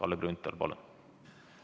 Kalle Grünthal, palun!